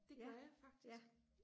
ja ja